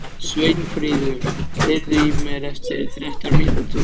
Sveinfríður, heyrðu í mér eftir þrettán mínútur.